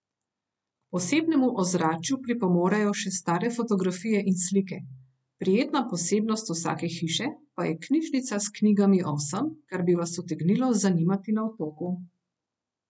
K posebnemu ozračju pripomorejo še stare fotografije in slike, prijetna posebnost vsake hiše pa je knjižnica s knjigami o vsem, kar bi vas utegnilo zanimati na otoku.